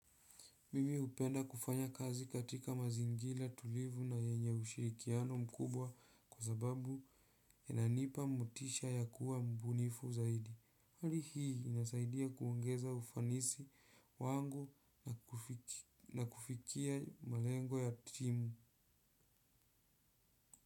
Mimi upenda kufanya kazi katika mazingira tulivu na yenye ushirikiano mkubwa kwa sababu inanipa mutisha ya kuwa mbunifu zaidi. Hali hii inasaidia kuongeza ufanisi wangu na kufikia malengo ya timu.